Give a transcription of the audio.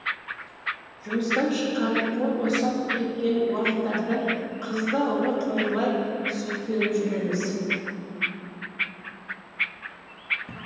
жұмыстан шыққан қол босап кеткен уақыттарда қызды ауылға қыңырлай сүйкеніп жүреміз